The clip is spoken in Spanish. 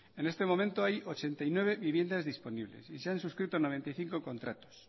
en este momento hay ochenta y nueve viviendas disponibles y se han suscrito noventa y cinco contratos